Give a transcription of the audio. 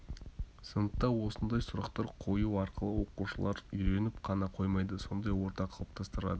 сыныпта осындай сұрақтар қою арқылы оқушылар үйреніп қана қоймайды сондай орта қалыптастырады